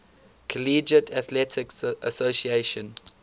collegiate athletic association